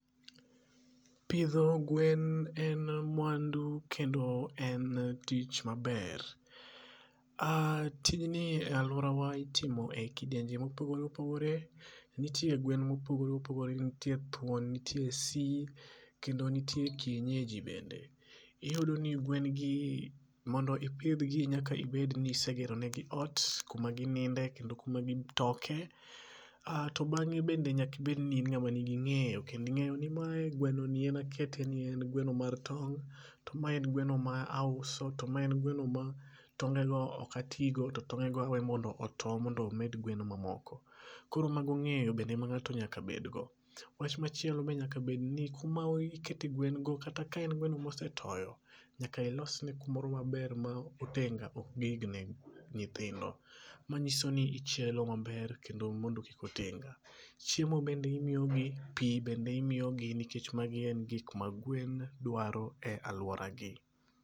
Pidho gwen en mwandu kendo en tich maber. Tijni e alworawa itimo e kidienje mopogore opogore nitie gwen mopogore opogore ntie thuon ntie si kendo nitie kienyeji bende. Iyudo ni gwengi mondo ipidhgi nyaka bedni isegeronegi ot kumagininde kendo kumagitoke. To bang'e bende nyakibed ni in ng'ama nigi ng'eyo kendo ing'eyo ni mae gwenoni en akete ni en gweno mar tong' to mae en gweno ma auso to ma en gweno ma tongego okatigo to tongego awe mondo oto mondo omed gwen mamoko. Koro mago ng'eyo bende ma ng'ato nyaka bedgo. Wach machielo be nyaka bedni kuma ikete gwengo kata kaen gweno mosetoyo, nyaka ilosne kumoro maber ma otenga ok nyithindo manyiso ni ichielo maber kendo mondo kik otenga. Chiemo bende imiyogi, pi bende imiyogi nikech magi en gikma gwen dwaro e alworagi.